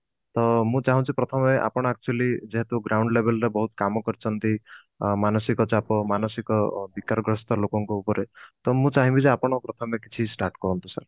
ଅ ତ ମୁଁ ଚାହୁଁଛି ପ୍ରଥମେ ଆପଣ actually ଯେହେତୁ ground label ରେ ବହୁତ କାମ କରିଛନ୍ତି ମାନସିକ ଚାପ ମାନସିକ ବିକାର ଗ୍ରସ୍ତ ଲୋକଙ୍କ ଉପରେ ତ ମୁଁ ଚାହିଁବି ଯେ ଆପଣ ପ୍ରଥମେ କିଛି start କରନ୍ତୁ sir